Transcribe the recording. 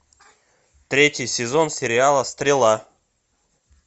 третий сезон сериала стрела